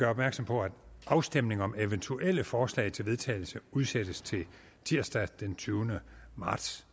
opmærksom på at afstemning om eventuelle forslag til vedtagelse udsættes til tirsdag den tyvende marts